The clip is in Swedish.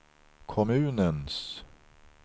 kommunens